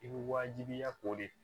I bɛ wajibiya ko de